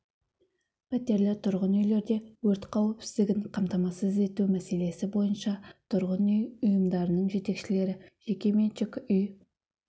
пәтерлі тұрғын үйлерде өрт қауіпсіздігін қамтамасыз ету мәселесі бойынша тұрғын үй ұйымдарының жетекшілері жекеменшік үй